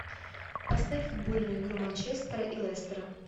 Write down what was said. поставь футбольную игру манчестера и лестера